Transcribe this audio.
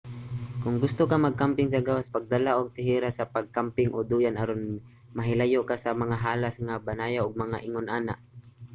kon gusto ka magkamping sa gawas pagdala ug teheras sa pag-kamping o duyan aron mahilayo ka sa mga halas mga banayaw ug mga ingon ana